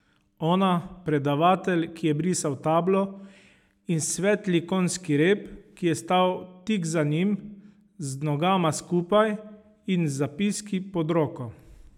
Ona, predavatelj, ki je brisal tablo, in svetli konjski rep, ki je stal tik za njim, z nogama skupaj in z zapiski pod roko.